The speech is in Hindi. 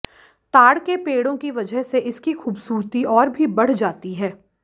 ताड़ के पेड़ों की वजह से इसकी खूबसूरती और भी बढ़ जाती है